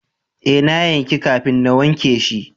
Eh, na yanki kafin na wanke shi.